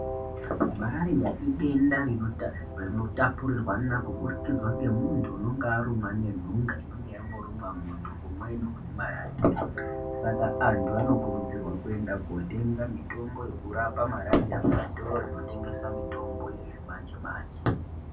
Marariya idenda rino tapurirwana kubudikidza ngemunhu unonga arumwa ngenhunga inonga yamborumwa munhu umweni unonga anemarariya ,saka anhu anokurudzirwa kuenda kotenga mitombo yekurapa marariya kuzvitoro zvinotengese mitombo yechimanjemanje.